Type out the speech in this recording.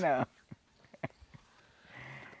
Não.